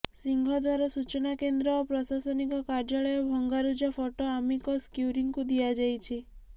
ସିଂହଦ୍ୱାର ସୂଚନା କେନ୍ଦ୍ର ଓ ପ୍ରଶାସନିକ କାର୍ଯ୍ୟାଳୟ ଭଙ୍ଗାରୁଜା ଫଟୋ ଆମିକସ୍ କ୍ୟୁରିଙ୍କୁ ଦିଆଯାଇଛି